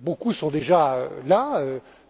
Beaucoup sont déjà là,